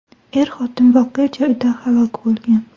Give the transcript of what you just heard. Er-xotin voqea joyida halok bo‘lgan.